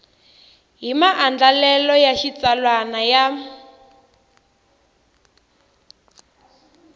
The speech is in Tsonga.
hi maandlalelo ya xitsalwana ya